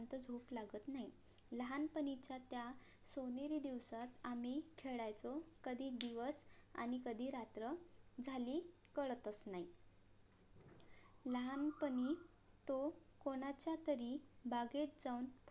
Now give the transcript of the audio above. सोनेरी दिवसात आम्ही खेळायचो कधी दिवस आणि कधी रात्र झाली कळतच नाही लहानपणी तो कोणाचा तरी बागेत जाऊन